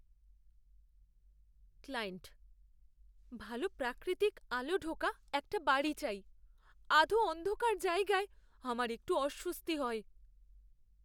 Client, ভালো প্রাকৃতিক আলো ঢোকা একটা বাড়ি চাই; আধো অন্ধকার জায়গায় আমার একটু অস্বস্তি হয়।